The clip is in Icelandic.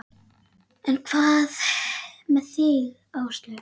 En hvað með þig Áslaug?